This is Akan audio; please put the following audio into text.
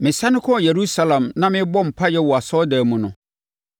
“Mesane mekɔɔ Yerusalem na merebɔ mpaeɛ wɔ asɔredan mu no,